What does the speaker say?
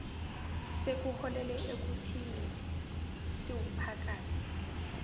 sekuholele ekuthini siwumphakathi